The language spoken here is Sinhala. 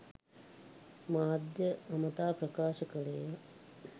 මාධ්‍යය අමතා ප්‍රකාශ කළේය